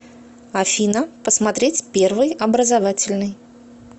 афина посмотреть первый образовательный